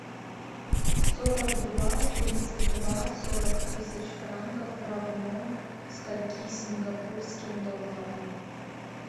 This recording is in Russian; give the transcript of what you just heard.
сорок два тридцать два сорок тысяч франков равно скольки сингапурским долларам